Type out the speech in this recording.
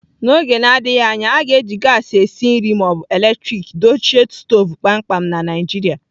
N'oge na-adịghị anya, a ga-eji gaasị esi nri ma ọ bụ eletrik dochie stovu kpamkpam na Naijiria.